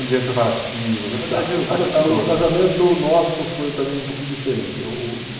O dia dos preparativos O o casamento nosso foi também um pouquinho diferente. Eu